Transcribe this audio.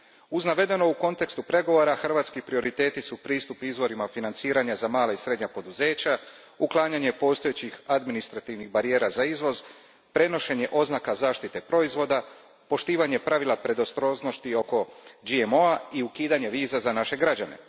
Uz navedeno u kontekstu pregovora, hrvatski prioriteti su pristup izvorima financiranja za mala i srednja poduzeća, uklanjanje postojećih adminsitrativnih barijera za izvoz, prenošenje oznaka zaštite proizvoda, poštovanje pravila predostrožnosti oko GMO a i ukidanje viza za naše građane.